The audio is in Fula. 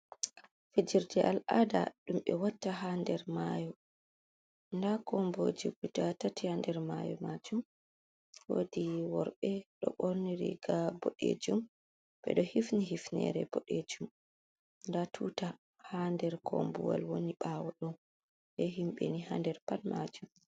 Fijirde al'ada ɗumɓe watta ha nder mayo. Nda komboje guda tati ha nder mayo majum, wodi worɓe ɗo ɓorni ri ga boɗejum, ɓe ɗo hifni hifnere boɗejum. Nda tuta ha nder kombuwal woni ɓawo ɗo. Be himɓeni ha nder pat majum.